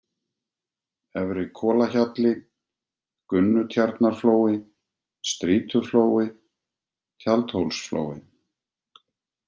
Efri-Kolahjalli, Gunnutjarnarflói, Strýtuflói, Tjaldhólsflói